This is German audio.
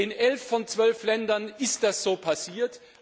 In 11 von 12 Ländern ist das so passiert.